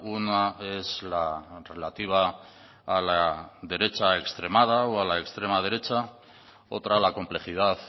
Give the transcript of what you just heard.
una es la relativa a la derecha extremada o a la extrema derecha otra la complejidad